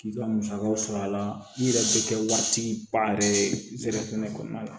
K'i ka musakaw sɔrɔ a la i yɛrɛ bɛ kɛ waati ba yɛrɛ ye zefange kɔnɔna